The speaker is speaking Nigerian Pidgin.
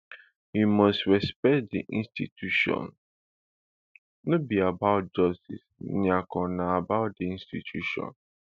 e must respect di institution no be about justice nyako na about di institution